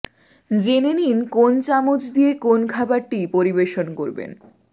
জেনে নিন কোন চামচ দিয়ে কোন খাবারটি পরিবেশন করবেন